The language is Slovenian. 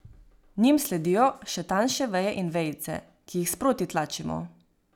Njim sledijo še tanjše veje in vejice, ki jih sproti tlačimo.